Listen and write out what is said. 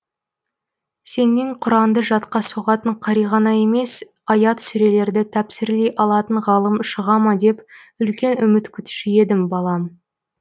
сенен құранды жатқа соғатын қари ғана емес аят сүрелерді тәпсірлей алатын ғалым шыға ма деп үлкен үміт күтуші едім балам